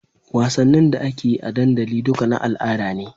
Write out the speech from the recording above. Wassanin da akeyi a dandali duka na al'ada ne